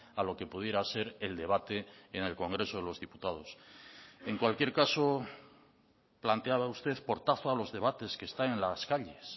a lo que pudiera ser el debate en el congreso de los diputados en cualquier caso planteaba usted portazo a los debates que están en las calles